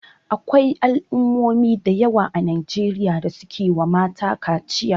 Akwai al'ummomi a Najeriya da suke wa mata kaciya.